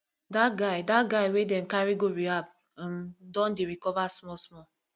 dat guy dat guy wey dem carry go rehab um don dey recover smallsmall